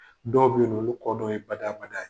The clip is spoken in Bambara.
Dɔw bɛ yen nɔ olu dɔw ye bada bada ye.